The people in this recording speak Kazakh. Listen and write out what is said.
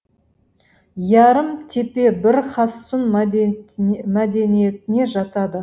ярым тепе бір хассун мәдениетіне жатады